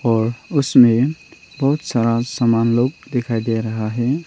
और उसमें बहुत सारा सामान लोग दिखाई दे रहा है।